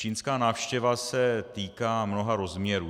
Čínská návštěva se týká mnoha rozměrů.